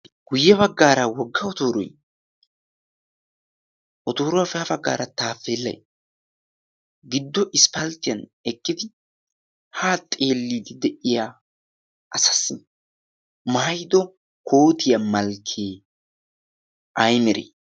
guyye baggaara wogga otooro? otooruwaa faya baggaara taafeellai giddo isppalttiyan eqqidi ha xeelliidi de'iya asaassi maayido kootiyaa malkkee aymere?